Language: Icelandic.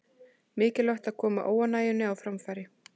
Mikilvægt að koma óánægjunni á framfæri